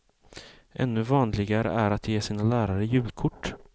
Ännu vanligare är att ge sina lärare julkort.